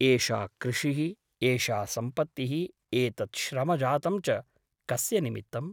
एषा कृषिः , एषा सम्पत्तिः एतत् श्रमजातं च कस्य निमित्तम् ?